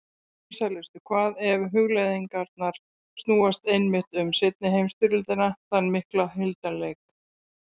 Vinsælustu hvað ef hugleiðingarnar snúast einmitt um seinni heimsstyrjöldina, þann mikla hildarleik.